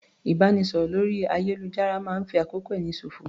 Ìbánisọ̀rọ̀ lórí ayélujára máa ń fi àkókò ẹni ṣòfò